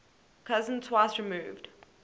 cousin twice removed